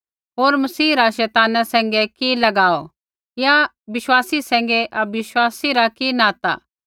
होर मसीह रा शैताना सैंघै कि लगाव या विश्वासी सैंघै अविश्वासी रा कि नाता